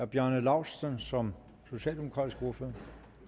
bjarne laustsen som socialdemokratisk ordfører